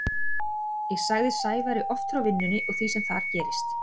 Ég sagði Sævari oft frá vinnunni og því sem þar gerðist.